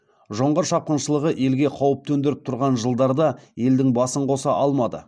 жоңғар шапқыншылығы елге қауіп төндіріп тұрған жылдарда елдің басын қоса алмады